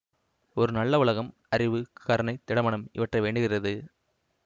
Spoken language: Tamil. ஒரு நல்ல உலகம் அறிவு கருணை திடமனம் இவற்றை வேண்டுகிறது